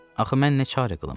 Axı mən nə çarə qılım?